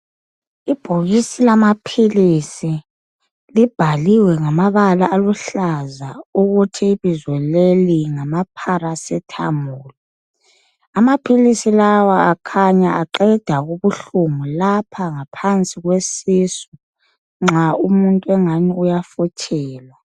Ibhokisi lamaphilisi libhaliwe ngamabala aluhlaza ukthi ibizo leli ngama"paracetamol".Amaphilisi lawa akhanya aqeda ubuhlungu lapha ngaphansi kwesisu nxa umuntu engani uyafuthelwa.